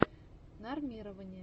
нормирование